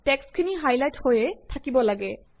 টেক্সটখিনি হাইলাইটহৈয়ে থাকিব লাগে